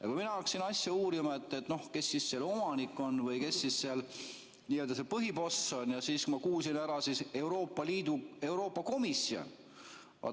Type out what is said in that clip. Ja kui mina hakkasin asja uurima, kes selle omanik on või kes seal n-ö põhiboss on, siis ma kuulsin, et Euroopa Komisjon.